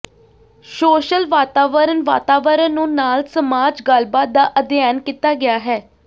social ਵਾਤਾਵਰਣ ਵਾਤਾਵਰਣ ਨੂੰ ਨਾਲ ਸਮਾਜ ਗੱਲਬਾਤ ਦਾ ਅਧਿਐਨ ਕੀਤਾ ਗਿਆ ਹੈ